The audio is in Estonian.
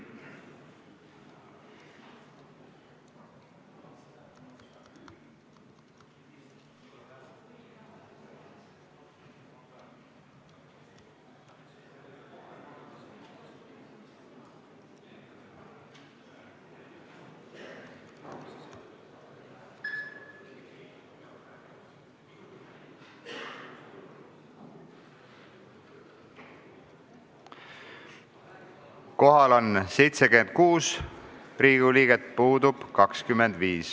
Kohaloleku kontroll Kohal on 76 Riigikogu liiget, puudub 25.